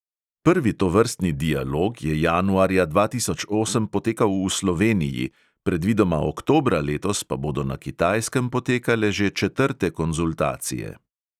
Prvi tovrstni dialog je januarja dva tisoč osem potekal v sloveniji, predvidoma oktobra letos pa bodo na kitajskem potekale že četrte konzultacije.